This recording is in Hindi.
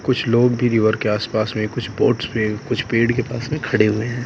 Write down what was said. कुछ लोग भी रिवर के आस पास में कुछ बोट्स पे कुछ पेड़ के पास भी में खड़े हुए है।